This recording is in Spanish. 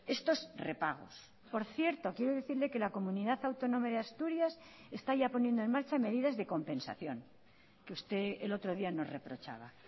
estos repagos por cierto quiero decirle que la comunidad autónoma de asturias está ya poniendo en marcha medidas de compensación que usted el otro día nos reprochaba